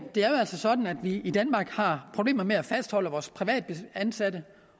altså sådan at vi i danmark har problemer med at fastholde vores privatansatte